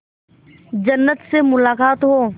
जन्नत से मुलाकात हो